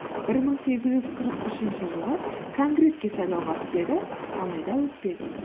бір мың сегіз жүз қырық үшінші жылы конгресске сайлауға түседі алайда өтпеді